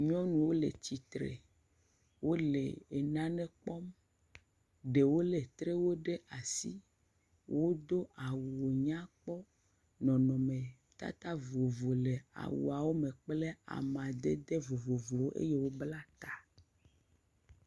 Nyɔnuwo le tsitre. Wole enane kpɔm. Ɖewo lé trewo ɖe asi. Wodo awunyakpɔ. Nɔnɔmetata vovovo le awuawo me kple amadede vovovowo eye wobla ta.